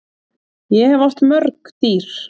Ég hef átt mörg dýr.